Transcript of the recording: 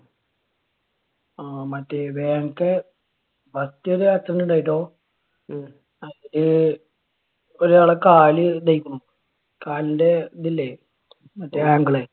ആഹ് മറ്റേ വേങ്ങത്ത് മറ്റൊരു accident ഉണ്ടായിട്ടോ. അത് ഒരാളുടെ കാല് ഇതായേക്കണു. കാലിന്റെ ഇതില്ലേ മറ്റേ ankle